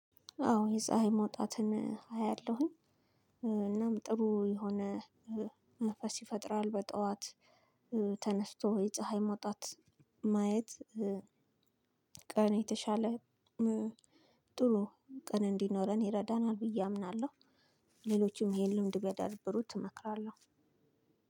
አዎ የፀሀይ መውጣትን አያለሁኝ እናም ጥሩ የሆነ መንፈስ ይፈጥራል በጠዋት። ተነስቶ የፀሀይ መውጣት ማየት ቀን የተሻለ ጥሩ ቀን እንዲኖረን ይረዳናል ብዬ አምናለሁ። ሌሎችም ይሄን ልምድ ቢያዳብሩት እመክራለሁ።